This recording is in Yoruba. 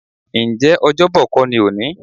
Ǹjẹ́ Ọ́jọ́bọ̀ kó ni òní?